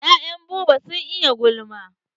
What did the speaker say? Ya'yan Buba sun iya tsegumi.